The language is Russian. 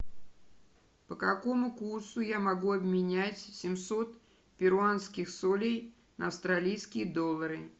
по какому курсу я могу обменять семьсот перуанских солей на австралийские доллары